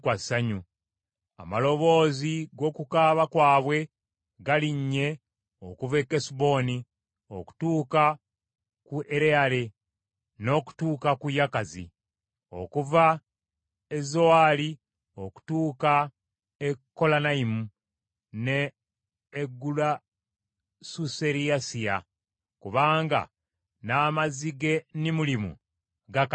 “Amaloboozi g’okukaaba kwabwe galinnye okuva e Kesuboni okutuuka ku Ereyale, n’okutuuka ku Yakazi. Okuva e Zowaali okutuuka e Kolanayimu n’e Egulasuserisiya, kubanga n’amazzi g’e Nimulimu gakalidde.